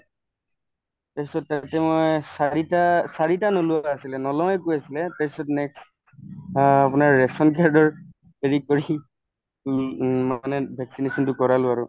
তাৰপিছত তাতে মই চাৰিটা চাৰিটা নোলোৱা আছিলে নলওয়ে কৈ আছিলে তাৰপিছত next আপোনাৰ ration card ৰ সি উম মই মানে vaccination তো কৰালো আৰু